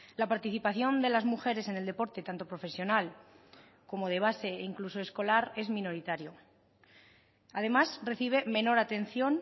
la participación de las mujeres en el deporte tanto profesional como de base e incluso escolar es minoritario además recibe menor atención